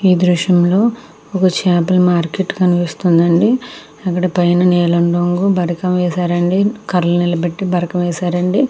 ఈ దృశంలో ఒక చాపల మార్కెట్ కనిపిస్తుందండి. అక్కడ పైన నీలం రంగు బరకం వేశారండి కార నిలబెట్టి బరకం వేశారండి.